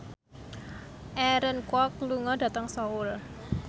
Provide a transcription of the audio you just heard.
Aaron Kwok lunga dhateng Seoul